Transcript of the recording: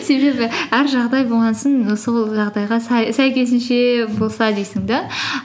себебі әр жағдай болған соң сол жағдайға сәйкесінше болса дейсің де